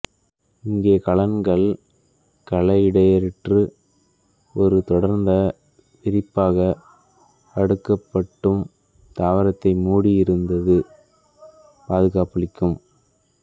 இங்கே கலங்கள் கல இடைவெளியற்று ஒரு தொடர்ந்த விரிப்பாக அடுக்கப்பட்டும் தாவரத்தை மூடி இருந்து பாதுகாப்பளிக்கும்